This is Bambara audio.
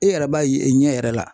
E yɛrɛ b'a ye i ɲɛ yɛrɛ la